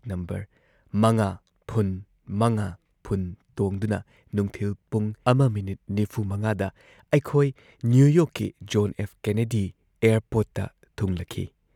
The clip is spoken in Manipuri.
ꯅꯝꯕꯔ ꯵꯰꯵꯰ ꯇꯣꯡꯗꯨꯅ ꯅꯨꯡꯊꯤꯜ ꯄꯨꯡ ꯱.꯴꯵ ꯗ ꯑꯩꯈꯣꯢ ꯅ꯭ꯌꯨ ꯌꯣꯔꯛꯀꯤ ꯖꯣꯟ ꯑꯦꯐ ꯀꯦꯅꯦꯗꯤ ꯑꯦꯌꯔꯄꯣꯔꯠꯇ ꯊꯨꯡꯂꯈꯤ ꯫